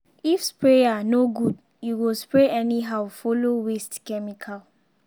if sprayer no good e go spray anyhow follow waste chemical.